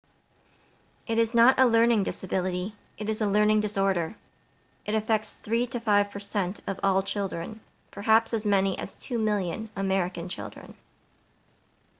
it is not a learning disability it is a learning disorder it affects 3 to 5% of all children perhaps as many as 2 million american children